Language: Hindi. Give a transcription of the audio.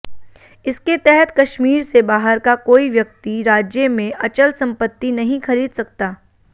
इसके तहत कश्मीर से बाहर का कोई व्यक्ति राज्य में अचल संपत्ति नहीं खरीद सकता